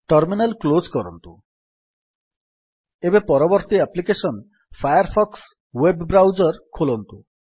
terminal close କରନ୍ତୁ ଏବେ ପରବର୍ତ୍ତୀ application Firefox web browser ଖୋଲନ୍ତୁ